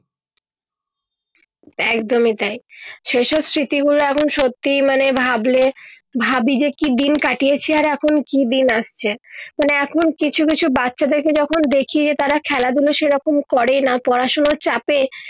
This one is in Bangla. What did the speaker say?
একদমই তাই সে সব স্মৃতি গুলো এখন সত্যি মানে ভাবলে ভাবি যে কি দিন কাটিয়েছি আর এখন কি দিন আসচ্ছে মানে এখন কিছু কিছু বাচ্চাদের যখন দেখি তারা খেলা ধুলো সে রকম করে না পড়া শোনার চাপে